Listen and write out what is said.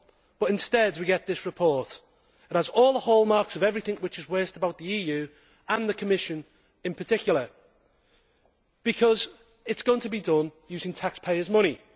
But instead we get this report, which has all the hallmarks of everything which is worst about the EU and the Commission in particular, because it is going to be done using taxpayers' money.